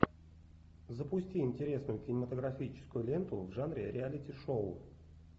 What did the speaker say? запусти интересную кинематографическую ленту в жанре реалити шоу